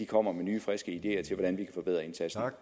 kommer med nye friske ideer til hvordan vi kan forbedre indsatsen